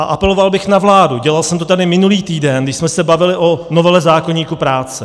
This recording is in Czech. A apeloval bych na vládu, dělal jsem to tady minulý týden, když jsme se bavili o novele zákoníku práce.